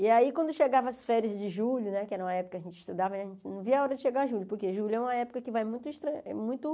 E aí quando chegava as férias de julho né, que era uma época que a gente estudava, a gente não via a hora de chegar julho, porque julho é uma época que vai muito estra eh muito.